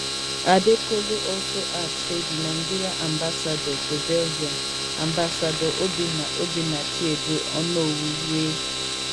adekolu also add say di nigeria ambassador to belgium ambassador obinna obinna chiedu onowu wey